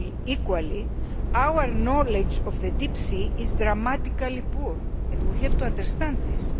Equally, our knowledge of the deep sea is dramatically poor and we have to understand this.